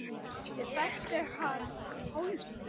Ég þekkti hann Pálma.